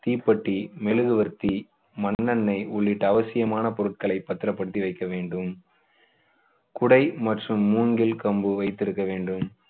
தீப்பெட்டி, மெழுகுவர்த்தி, மண்ணெண்ணெய் உள்ளிட்ட அவசியமான பொருட்களை பத்திரப்படுத்தி வைக்க வேண்டும். குடை மற்றும் மூங்கில் கம்பு வைத்திருக்க வேண்டும்.